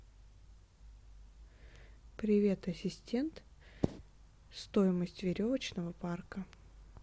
привет ассистент стоимость веревочного парка